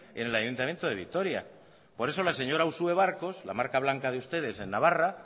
en el ayuntamiento de vitoria por eso la señora uxue barkos la marca blanca de ustedes en navarra